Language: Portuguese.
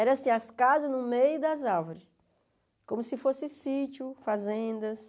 Eram as casas no meio das árvores, como se fosse sítios, fazendas.